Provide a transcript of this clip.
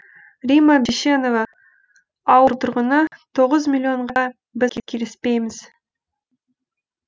римма бишенова ауыл тұрғыны тоғыз миллионға біз келісіпейміз